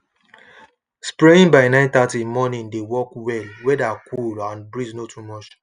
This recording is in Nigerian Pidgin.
spraying by 930 morning dey work wellweather cool and breeze no too much